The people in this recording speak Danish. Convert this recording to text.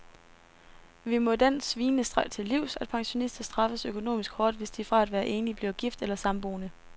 Vi må den svinestreg til livs, at pensionister straffes økonomisk hårdt, hvis de fra at være enlig bliver gift eller samboende.